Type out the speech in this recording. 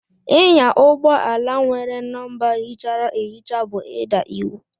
Ịnya ụgbọ ala nwere nọmba híchárá ehicha bú ida iwu.